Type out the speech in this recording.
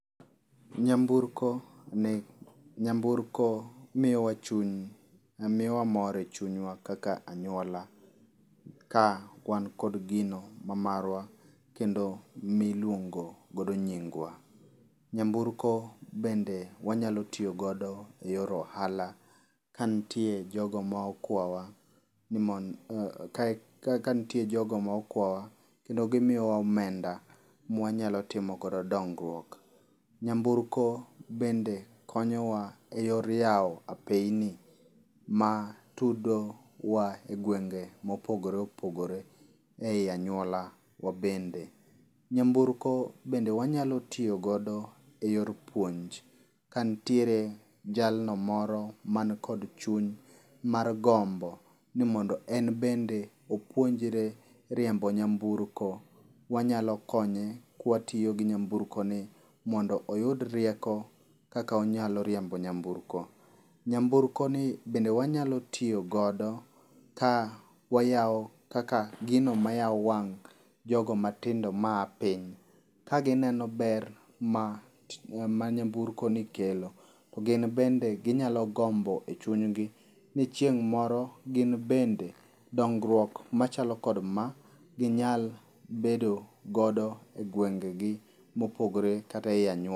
Nyamburko ni nyamburko miyowa chuny miyowa mor echunywa kaka anyuola ka wan kod gino mamarwa kendo miluongo godo nyingwa. Nyamburko bende wanyalo tiyo godo eyor ohala, ka nitie jogo ma okwawa ni mond kanitie jogo ma okwawa kendo gimiyowa omenda ma wanyalo timo godo dongruok. Nyamburko bende konyowa eyor yawo apeyini ma tudowa e gwenge mopogore opogore ei anyuola wa bende. Nyamburko bende wanyalo tiyo godo eyor puonj, kanitiere jalno moro man kod chuny mar gombo ni mondo en bende opuonjre riembo nyamburko. Wa nyalo konye kotiyo gi nyamburkoni mondo oyud rieko kaka onyalo riembo nyamburko. Nyamburkoni bende wanyalo tiyo godo ka wayawo kaka gino mayawo wang' jogo matindo maa piny ka gineno ber ma manyamburkoni kelo. Gin bende ginyalo gombo echunygi ni chieng' moro gin bende, dongruok machalo kod ma ginyal bedo godo egwengegi mopogre kata ei anyuola.